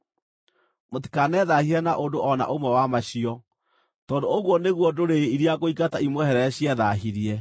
“ ‘Mũtikanethaahie na ũndũ o na ũmwe wa macio, tondũ ũguo nĩguo ndũrĩrĩ iria ngũingata imweherere ciethaahirie.